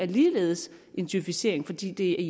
ligeledes en djøfisering fordi det